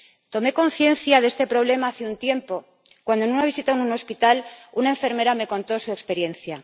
Tomé conciencia de este problema hace un tiempo cuando, en una visita a un hospital, una enfermera me contó su experiencia.